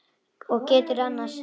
Og geturðu annast hann?